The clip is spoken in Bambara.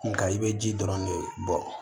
Nka i bɛ ji dɔrɔn de bɔ